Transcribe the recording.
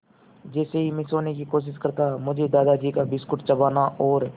जैसे ही मैं सोने की कोशिश करता मुझे दादाजी का बिस्कुट चबाना और